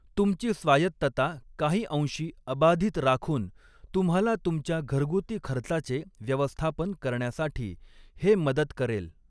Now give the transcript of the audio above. तुमची स्वायत्तता काही अंशी अबाधित राखून तुम्हाला तुमच्या घरगुती खर्चाचे व्यवस्थापन करण्यासाठी हे मदत करेल.